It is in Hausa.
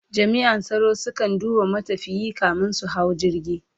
jami'an tsaro su kan duba matafiyi kamin su hau jirgi